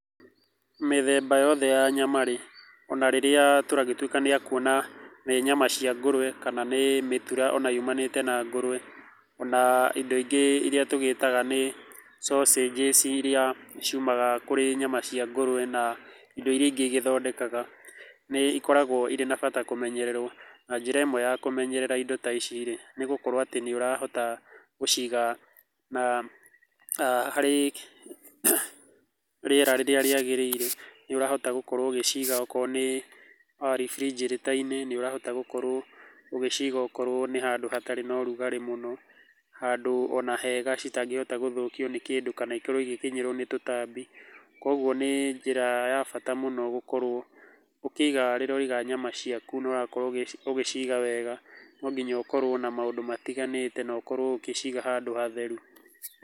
Mĩthemba yothe ya nyama rĩ, ona rĩrĩa tũragĩtuĩka nĩ akuona, nĩ nyama cia ngũrũwe kana nĩ mĩtura ona yumanĩte na ngũrũwe, ona indo ingĩ iria tũgĩtaga nĩ sausages irĩa ciumaga kũrĩ nyama cia ngũrũwe na indo irĩa ingĩ igĩthondekaga, nĩ ikoragwo irĩ na bata kũmenyererwo, na njĩra ĩmwe ya kũmenyerera indo ta ici rĩ, nĩ gũkorwo atĩ nĩ ũrahota gũciga na aah harĩ rĩera rĩrĩa rĩagĩrĩire, nĩũrahota gũkorwo ũgĩciga okorwo nĩ refrigerator-inĩ , nĩ ũrahota gũkorwo ũgĩciga okorwo nĩ handũ hatarĩ na ũrugarĩ mũno, handũ ona hega citangĩhota gũthũkio nĩ kĩndũ kana ikorwo igĩkinyĩrwo nĩ tũtambi, koguo nĩ njĩra ya bata mũno gũkorwo ũkĩiga rĩrĩa ũraiga nyama ciaku na ũrakorwo ũgĩciga wega, no nginya ũkorwo na maũndũ matiganĩte na ũkorwo ũgĩciga handũ hatheru.